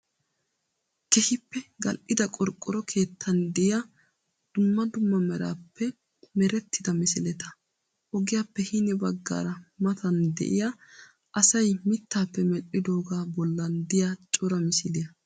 Keehippe gal'ida qorqqoro keettaan diyaa dumma dumma merappe merettida misileta. Ogiyaappe hini baggaara matan de'iya asayi mittaappe medhdhidoogaa bollan diyaa cora misiliyaa.